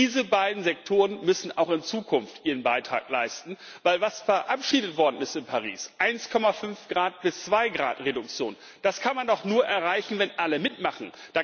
Diese beiden Sektoren müssen auch in Zukunft ihren Beitrag leisten, denn was verabschiedet worden ist in Paris, 1,5 Grad bis 2 Grad Reduktion, das kann man doch nur erreichen, wenn alle mitmachen.